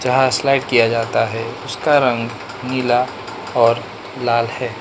यहां स्लाइड किया जाता है उसका रंग नीला और लाल है।